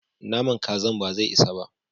Naman Kazan bazai isa ba.